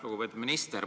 Lugupeetud minister!